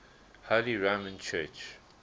holy roman church